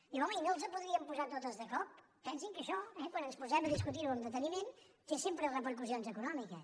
diu home i no les podríem posar totes de cop pensin que això eh quan ens posem a discutir ho amb deteniment té sempre repercussions econòmiques